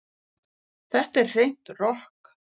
Þetta er hreint rokk